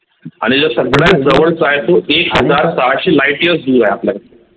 आणि जो सगळ्यात जवळ चा आहे तो एक हजार सहाशे Light year दूर आहे आपल्यापासून